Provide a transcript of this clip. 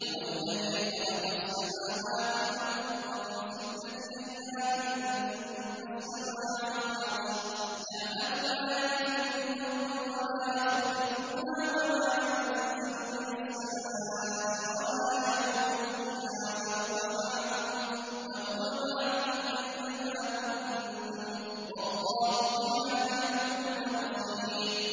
هُوَ الَّذِي خَلَقَ السَّمَاوَاتِ وَالْأَرْضَ فِي سِتَّةِ أَيَّامٍ ثُمَّ اسْتَوَىٰ عَلَى الْعَرْشِ ۚ يَعْلَمُ مَا يَلِجُ فِي الْأَرْضِ وَمَا يَخْرُجُ مِنْهَا وَمَا يَنزِلُ مِنَ السَّمَاءِ وَمَا يَعْرُجُ فِيهَا ۖ وَهُوَ مَعَكُمْ أَيْنَ مَا كُنتُمْ ۚ وَاللَّهُ بِمَا تَعْمَلُونَ بَصِيرٌ